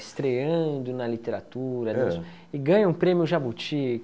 Estreando na literatura, e e ganha um prêmio Jabuti.